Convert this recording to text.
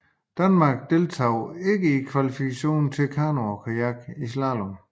Danmark deltog ikke i kvalifikationen til kano og kajak i slalom